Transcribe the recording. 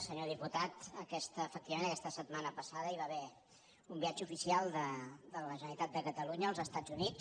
senyor diputat efectivament aquesta setmana passada hi va haver un viatge oficial de la generalitat als estats units